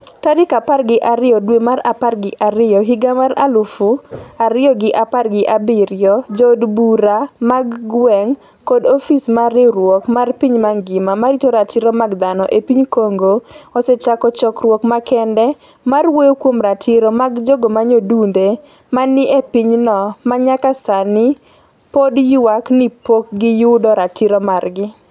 tarik apar gi ariyo dwe mar apar gi ariyo higa mar higa mar aluf ariyo gi apar gi abiriyo Jood bura mag gweng' kod ofis mar riwruok mar piny mangima ma rito ratiro mag dhano e piny Congo osechako chokruok makende mar wuoyo kuom ratiro mag jogo manyodunde ma ni e pinyno ma nyaka sani pod ywak ni pok giyudo ratito margi